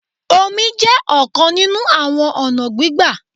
Omi jẹ́ ọ̀kan nínú àwọn ọ̀nà gbígbà.